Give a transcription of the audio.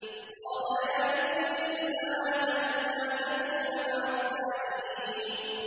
قَالَ يَا إِبْلِيسُ مَا لَكَ أَلَّا تَكُونَ مَعَ السَّاجِدِينَ